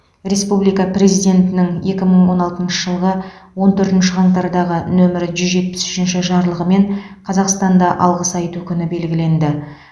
республика президентінің екі мың он алтыншы жылғы он төртінші қаңтардағы нөмірі жүз жетпіс үшінші жарлығымен қазақстанда алғыс айту күні белгіленді